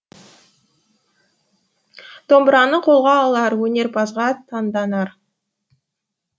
домбыраны қолға алар өнерпазға таңданар